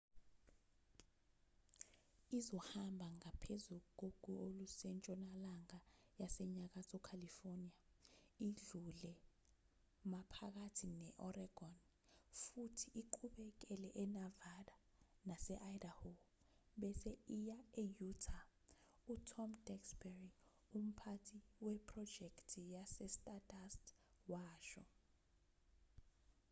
izohamba ngaphezu kogu olusentshonalanga yasenyakatho california idlule maphakathi ne-oregon futhi iqhubekele enevada nase-idaho bese iya e-utah u-tom duxbury umphathi wephrojekthi yestardust washo